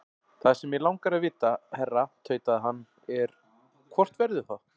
Það sem mig langar að vita, herra tautaði hann, er, hvort verður það?